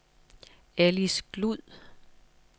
Ellis Glud